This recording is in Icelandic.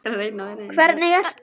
Hvernig ertu?